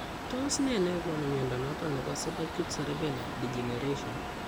Tos nee nekonu mnyondo noton nebo subacute cerebellar degeneration ?